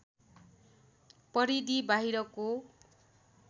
परिधि बाहिरको